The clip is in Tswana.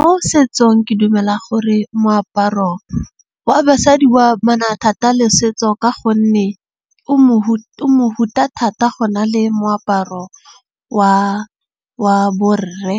Mo setsong ke dumela gore moaparo wa basadi wa mana thata le setso. Ka gonne o o mohuta thata go na le moaparo wa borre.